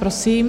Prosím.